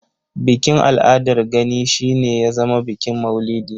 Bikin al'adar Gani shi ne ya zama bikin maulidi.